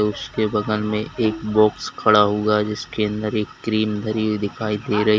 उसके बगल में एक बॉक्स खड़ा हुआ जिसके अंदर एक क्रीम धरी हुई दिखाई दे रही।